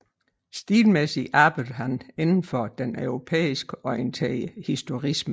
Stilmæssigt arbejdede han inden for den europæisk orienterede historicisme